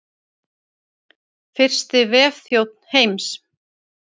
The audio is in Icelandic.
Fyrsti vefþjónn heims.